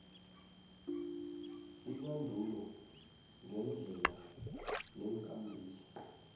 ibandulo ngeendlela neenkambiso